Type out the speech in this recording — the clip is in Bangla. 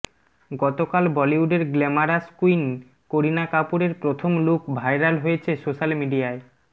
গতকাল বলিউডের গ্ল্যামারাস কুইন করিনা কাপুরের প্রথম লুক ভাইরাল হয়েছে সোশ্যাল মিডিয়ায়